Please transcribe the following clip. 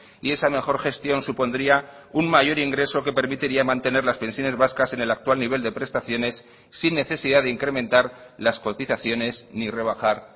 y esa mejor gestión supondría un mayor ingreso que permitiría mantener las pensiones vascas en el actual nivel de prestaciones sin necesidad de incrementar las cotizaciones ni rebajar